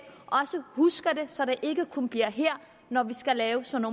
også husker så det ikke kun bliver her når vi skal lave sådan